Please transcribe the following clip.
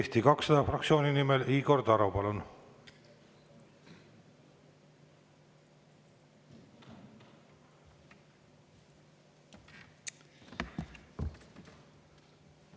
Eesti 200 fraktsiooni nimel Igor Taro, palun!